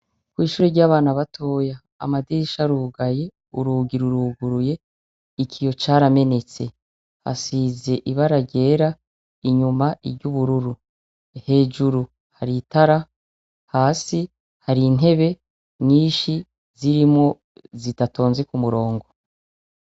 Mw'ishuri ry'abana batoyi, amadirisha arugaye, urugi ruruguruye, ikiyo caramenetse. Asize ibara ryera inyuma ry'ubururu. Hejuru har'itara, hasi har'intebe nyinshi zirimwo zidatonze ku murongo.